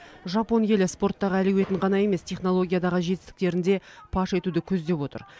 жапон елі спорттағы әлеуетін ғана емес технологиядағы жетістіктерін де паш етуді көздеп отыр